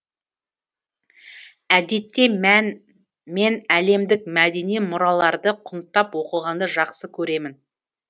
әдетте мен әлемдік мәдени мұраларды құнттап оқығанды жақсы көремін